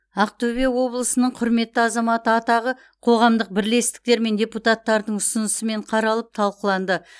ақтөбе облысының құрметті азаматы атағы қоғамдық бірлестіктер мен депутаттардың ұсынысымен қаралып талқыланды